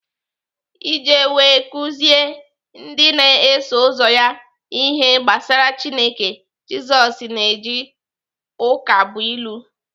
Iji wee kuziere ndị na-eso ụzọ ya ihe gbasara Chineke, Jisoz na-eji ụkabụilu.